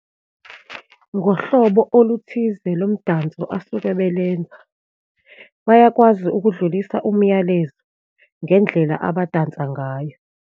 Ngohlobo oluthize lomdanso asuke belenza, bayakwazi ukudlulisa umyalezo ngendlela abadansayo ngayo.